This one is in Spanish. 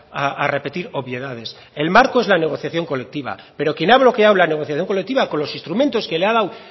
a repetir obviedades el marco es la negociación colectiva pero quien ha bloqueado la negociación colectiva con los instrumentos que le ha dado